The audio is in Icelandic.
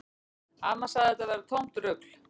Amma sagði að þetta væri tómt rugl